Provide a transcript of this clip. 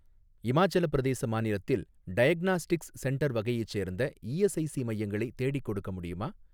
இமாச்சலப் பிரதேச மாநிலத்தில் டயக்னாஸ்டிக்ஸ் சென்டர் வகையைச் சேர்ந்த இஎஸ்ஐஸி மையங்களை தேடிக்கொடுக்க முடியுமா?